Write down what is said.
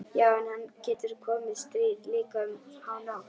Já en það getur komið stríð, líka um hánótt.